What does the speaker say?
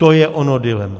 To je ono dilema.